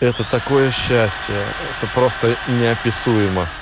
это такое счастье это просто неописуемо